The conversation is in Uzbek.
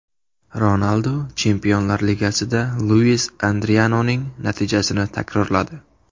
Ronaldu Chempionlar Ligasida Luis Adrianoning natijasini takrorladi.